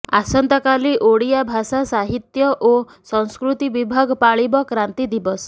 ଆସନ୍ତାକାଲି ଓଡ଼ିଆ ଭାଷା ସାହିତ୍ୟ ଓ ସଂସ୍କୃତି ବିଭାଗ ପାଳିବ କ୍ରାନ୍ତି ଦିବସ